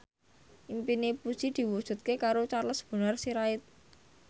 impine Puji diwujudke karo Charles Bonar Sirait